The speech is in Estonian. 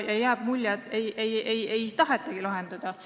Jääb mulje, et ei tahetagi lahendada.